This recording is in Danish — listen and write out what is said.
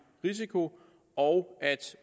risiko og at